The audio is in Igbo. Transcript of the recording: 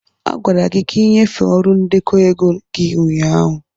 a gwara gị ka ị nyefee ọrụ ndekọ ego gị ụnyaahụ.